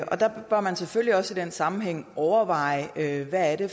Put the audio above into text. der bør man selvfølgelig også i den sammenhæng overveje hvad det